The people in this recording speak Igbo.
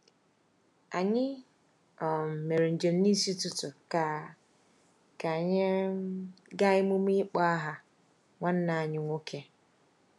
Anyị um mere njem n’isi ụtụtụ ka ka anyị um gaa emume ịkpọ aha nwanne anyị nwoke/nwunye.